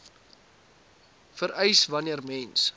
vereis wanneer mens